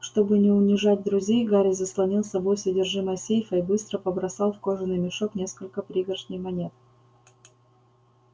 чтобы не унижать друзей гарри заслонил собой содержимое сейфа и быстро побросал в кожаный мешок несколько пригоршней монет